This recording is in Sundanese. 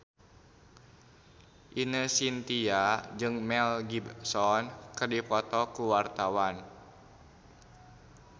Ine Shintya jeung Mel Gibson keur dipoto ku wartawan